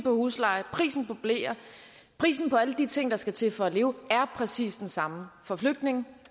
huslejen og prisen på bleer prisen på alle de ting der skal til for at leve præcis den samme for flygtninge